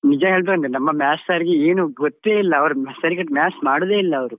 ನಿಜ ಹೇಳುದಂದ್ರೆ ನಮ್ಮ Maths sir ಗೆ ಏನೂ ಗೊತ್ತೇ ಇಲ್ಲ ಅವರು ಸರಿ ಕಟ್ Maths ಮಾಡುದೇ ಇಲ್ಲ ಅವ್ರು.